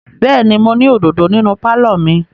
Bẹ́ẹ̀ ni, mo ní òdòdó nínú pálọ̀ mi.